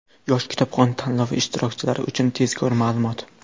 "Yosh kitobxon" tanlovi ishtirokchilari uchun tezkor ma’lumot!.